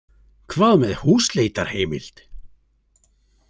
Hvað með húsleitarheimild?